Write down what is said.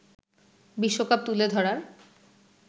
বিশ্বকাপ তুলে ধরার